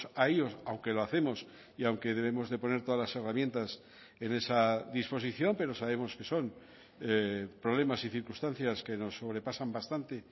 a ellos aunque lo hacemos y aunque debemos de poner todas las herramientas en esa disposición pero sabemos que son problemas y circunstancias que nos sobrepasan bastante